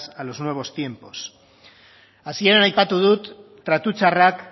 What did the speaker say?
a los nuevos tiempos hasieran aipatu dut tratu txarrak